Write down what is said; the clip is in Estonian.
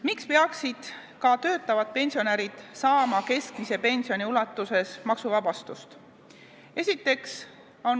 Miks peaksid ka töötavad pensionärid saama keskmise pensioni ulatuses maksuvabastust?